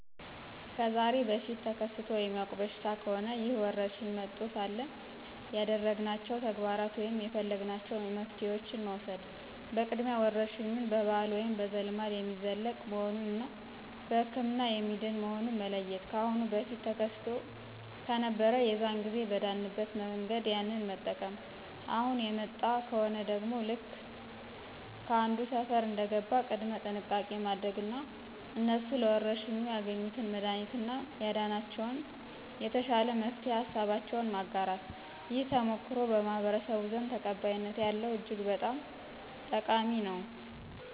ከዛሬ በፊት ተከስቶ የሚያውቅ በሽታ ከሆነ ይህ ወረርሽኝ መጥቶ ሳለ ያደረግናቸው ተግባራት ወይም የፈለግናቸው መፍትሄዋችን መውሰድ በቅድሚያ ወረርሽኙ በባህል ወይም በዘልማድ የሚለቅ መሆኑን እና በህክምና የሚድን መሆኑን መለየት። ካአሁን በፊት ተከስቶ ከነበር የዛን ጊዜ በዳንበት መንገድ ያንን መጠቅም፣ አሁን የመጣ ከሆነ ደግሞ ልክ ከአንዱ ሰፈር እንደገባ ቅድመ ጥንቃቄ ማድረግ እና እነሱ ለወረርሽኙ ያገኙትን መድሀኒት እና ያዳነላቸውን የተሻለ መፍትሄ ሀሳባቸውን ማጋራት። ይህ ተሞክሮ በማህበረስቡ ዘንድ ተቀባይነት ያለው እጅግ በጣም ጠቃሚ ነው።